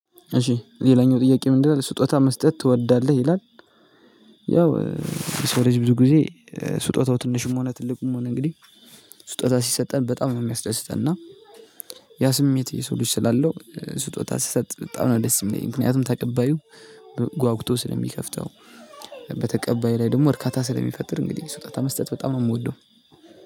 እሺ ሌላኛው ጥያቄ ምንድነው ስጦታ መስጠት ትወዳለህ ይላል? ያው የሰው ልጅ ብዙ ጊዜ ስጦታው ትንሽም ሆነ ትልቅም ሆነ እንግዲህ ስጦታ ሲሰጠን በጣም ነው የሚያስደስተን። እና ያ ስሜት የሰው ልጅ ስላለው ስጦታ ስሰጥ በጣም ነው ደስ የሚለኝ። ምክንያቱም ተቀባዩ ጓጉቶ ስለሚከፍተው። በተቀባይ ላይ ደግሞ እርካታ ስለሚፈጥር እንግዲህ ስውጣታ መስጠት በጣም ነው የምወደው።